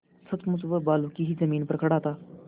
सचमुच वह बालू की ही जमीन पर खड़ा था